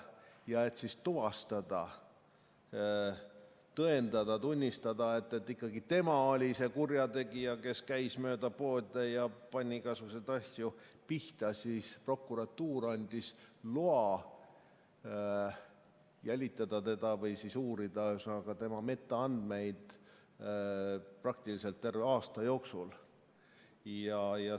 Ja et tuvastada, tõendada, tunnistada, et tema oli see kurjategija, kes käis mööda poode ja pani igasuguseid asju pihta, siis prokuratuur andis loa jälitada teda või uurida tema metaandmeid praktiliselt terve aasta jooksul.